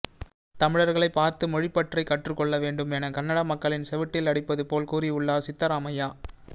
தமிழர்களைப் பார்த்து மொழிப்பற்றை கற்றுக் கொள்ள வேண்டும் என கன்னட மக்களின் செவுட்டில் அடிப்பது போல் கூறி உள்ளார் சித்தராமையா